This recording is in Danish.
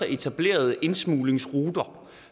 etableret indsmuglingsruter